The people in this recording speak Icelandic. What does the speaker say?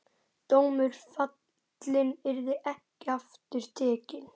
Dómur fallinn, yrði ekki aftur tekinn.